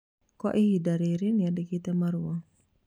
Kwa ihinda rĩrĩ nĩandĩkĩte marũa